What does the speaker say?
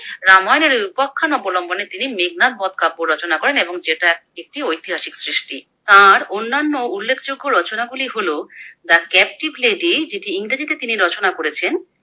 রামায়ণের ওই উপাখ্যান অবলম্বনে তিনি মেঘনাদবদ কাব্য রচনা করেন, এবং যেটা একটি ঐতিহাসিক সৃষ্টি। তার অন্যান্য উল্লেখযোগ্য রচনা গুলি হলো The Captive Lady যেটি ইংরেজিতে তিনি রচনা করেছেন।